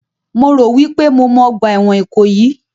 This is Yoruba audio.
Mo rò wípé mo mọ ọgbà ẹ̀wọ̀n Ìkòyí